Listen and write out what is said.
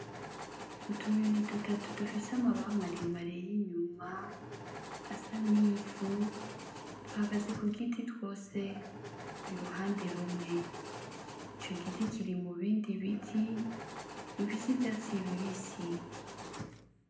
utunyoni dutatu dufise amababa bare mare inyuma y'inyuma asa n'ivu duhagaze ku giti twose iruhande rumwe ico giti kiri mu bindi biti bifise ivyatsi bibisi.